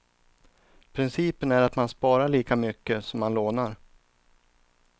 Principen är att man sparar lika mycket som man lånar.